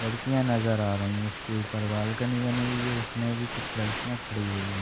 लड़कियाँ नज़र आ रही हैं इसके ऊपर बालकनी बनी हुई है उसमें भी कुछ लड़कियाँ खडी हुई हैं।